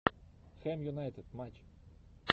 хэм юнайтед матч